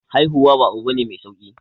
Haihuwa ba abu bane mai sauki